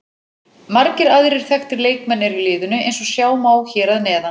Margir aðrir þekktir leikmenn eru í liðinu eins og sjá má hér að neðan.